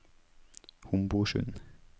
Homborsund